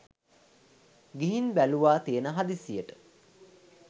ගිහින් බැලුවා තියෙන හදිස්සියට